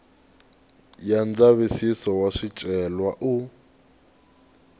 ya ndzavisiso wa swicelwa u